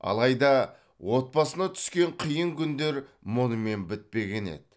алайда отбасына түскен қиын күндер мұнымен бітпеген еді